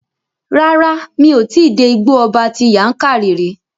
Rárá, mi ò tí dé Igbó ọba ti Yankari rí.